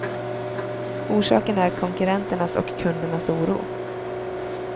Orsaken är konkurrenternas och kundernas oro.